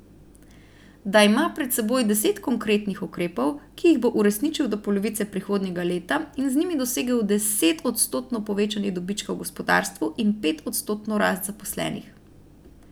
Da ima pred seboj deset konkretnih ukrepov, ki jih bo uresničil do polovice prihodnjega leta in z njimi dosegel desetodstotno povečanje dobička v gospodarstvu in petodstotno rast zaposlenih.